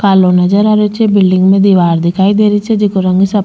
कालो नजर आ रेहो छे बिलडिंग में दिवार दिखाई दे री छे जेको रंग सफ़े --